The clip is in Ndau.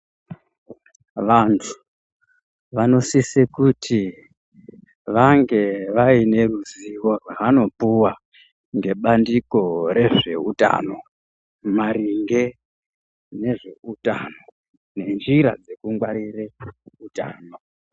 Vantu vanosise kuti vange vaine ruzivo rwaanopuwa, ngebandiko rezveutano , maringe ngezveutano, nenjira dzekungwarire utano.